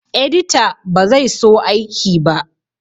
Edita ba zai so aiki ba